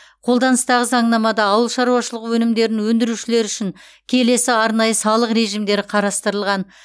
қолданыстағы заңнамада ауыл шаруашылығы өнімдерін өндірушілер үшін келесі арнайы салық режимдері қарастырылған